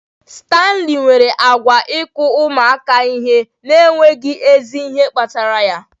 Stanley nwere àgwà nke ịkụ ụmụaka ihe n'enweghị ezi ihe kpatara ya